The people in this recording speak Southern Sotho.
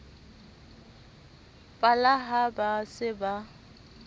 pala ha ba se ba